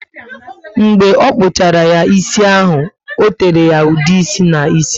Mgbe ọ kpuchara ya ísì, o tere ya ude ịsị ná ísì